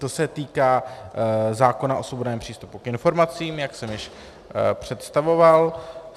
To se týká zákona o svobodném přístupu k informacím, jak jsem již představoval.